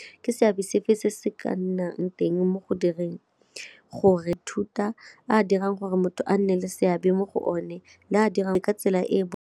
Ke seabe sefe se se ka nnang teng mo go direng gore thuta a dirang gore motho a nne le seabe mo go one le a dirang ka tsela e e.